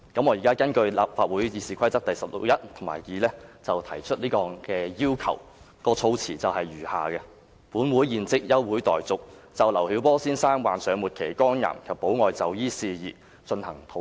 我現在根據立法會《議事規則》第161及2條提出這項要求，議案措辭如下："本會現即休會待續，就劉曉波先生患上末期肝癌及保外就醫事宜進行討論。